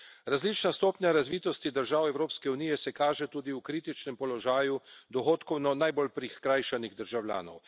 Različna stopnja razvitosti držav Evropske unije se kaže tudi v kritičnem položaju dohodkovno najbolj prikrajšanih državljanov.